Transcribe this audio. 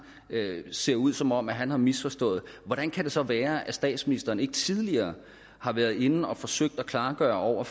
ser ud som om han har misforstået hvordan kan det så være at statsministeren ikke tidligere har været inde og forsøge at klargøre over